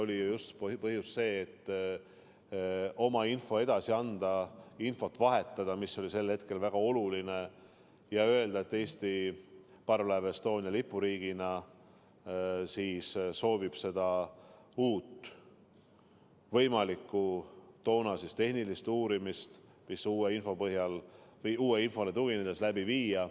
Oli ju põhjus see, et oma info edasi anda, infot vahetada, mis oli sel hetkel väga oluline, ja öelda, et Eesti soovib parvlaev Estonia lipuriigina uut võimalikku tehnilist uurimist, mida uue info põhjal või uuele infole tuginedes läbi viia.